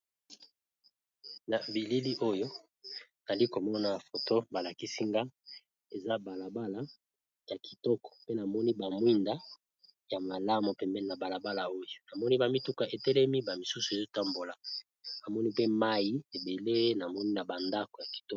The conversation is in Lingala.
Na bilili oyo nali ko mona foto ba lakisi nga. Eza balabala ya kitoko. Pe namoni ba mwinda ya malamu pembeni na balabala oyo. Na moni ba mituka etelemi ba misusu ezo tambola. Na moni pe mai ebele na moni na ba ndako ya kitoko.